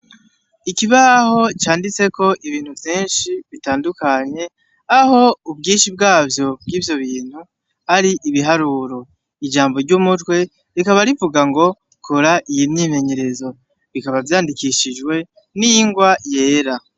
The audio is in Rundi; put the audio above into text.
Ikibaho canditseko ibintu vyinshi bitandukanye aho ubwinshi bwavyo bwivyo bintu ari ibiharuro ijambo ryumutwe rikaba rivugango kora iyi myimenyerezo bikaba vyandikishijwe n'ingwa yera.